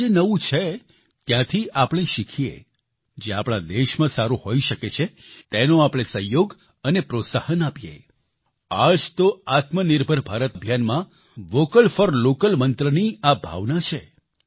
જ્યાં જે નવું છે ત્યાંથી આપણે શીખીએ જે આપણા દેશમાં સારું હોઈ શકે છે તેનો આપણે સહયોગ અને પ્રોત્સાહન આપીએ આ જ તો આત્મનિર્ભર ભારત અભિયાનમાં વોકલ ફોર લોકલ મંત્રની આ ભાવના છે